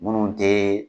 Minnu tɛ